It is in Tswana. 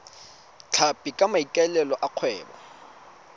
tlhapi ka maikaelelo a kgwebo